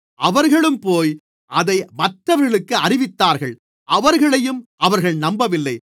அவர்களும்போய் அதை மற்றவர்களுக்கு அறிவித்தார்கள் அவர்களையும் அவர்கள் நம்பவில்லை